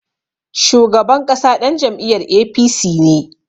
Shugaban ƙasa ɗan jam'iyar APC ne.